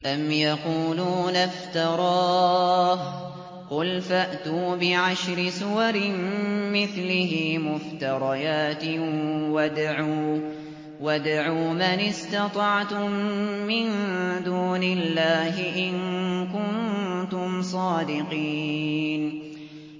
أَمْ يَقُولُونَ افْتَرَاهُ ۖ قُلْ فَأْتُوا بِعَشْرِ سُوَرٍ مِّثْلِهِ مُفْتَرَيَاتٍ وَادْعُوا مَنِ اسْتَطَعْتُم مِّن دُونِ اللَّهِ إِن كُنتُمْ صَادِقِينَ